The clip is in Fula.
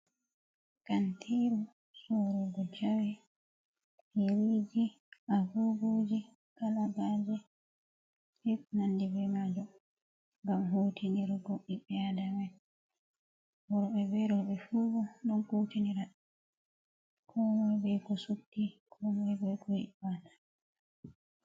Kantiru sorugo jawe, yeriji agoguji, kalagaje be ko nandi be majo. Ngam hutinirgo bibbe adama en.worobe be robe ɗon kutinira. Komoi be ko subti komoi be ko ibata.